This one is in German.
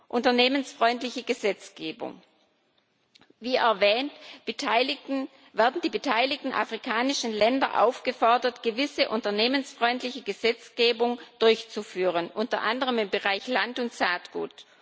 Unternehmensfreundliche Gesetzgebung Wie erwähnt, werden die beteiligten afrikanischen Länder aufgefordert, gewisse unternehmensfreundliche Gesetzgebung durchzuführen, unter anderem im Bereich Land und Saatgut.